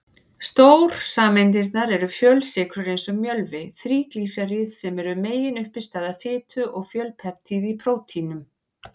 Stórsameindirnar eru fjölsykrur eins og mjölvi, þríglýseríð sem eru meginuppistaða fitu, og fjölpeptíð í prótínum.